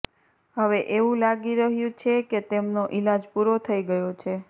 હવે એવું લાગી રહ્યું છે કે તેમનો ઇલાજ પુરો થઇ ગયો છે